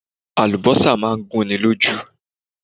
Àlùbọ́sà máa ń gún ni lójú.